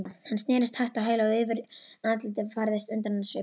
Hann snerist hægt á hæli og yfir andlitið færðist undrunarsvipur.